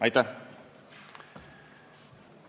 Aitäh!